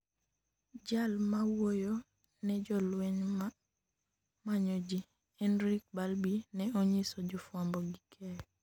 jal mawuoyo ne jolweny ma manyo ji, Enrique Balbi ne onyiso jofwambo gi keyo